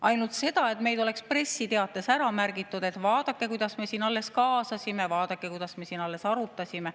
Ainult seda, et meid oleks pressiteates ära märgitud, et vaadake, kuidas me siin alles kaasasime, vaadake, kuidas me siin alles arutasime.